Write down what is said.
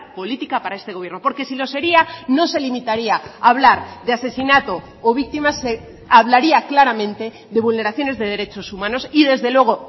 política para este gobierno porque si lo sería no se limitaría a hablar de asesinato o víctimas se hablaría claramente de vulneraciones de derechos humanos y desde luego